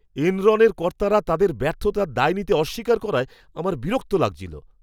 এনরনের কর্তারা তাদের ব্যর্থতার দায় নিতে অস্বীকার করায় আমার বিরক্তি লাগছিল।